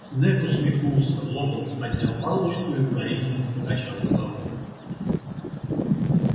снегг усмехнулся локонс поднял палочку и укоризненно покачал головой